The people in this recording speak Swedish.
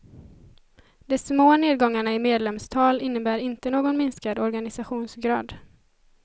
De små nedgångarna i medlemstal innebär inte någon minskad organisationsgrad.